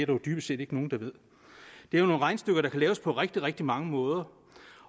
jo dybest set ikke nogen der ved det er jo nogle regnestykker der kan laves på rigtig rigtig mange måder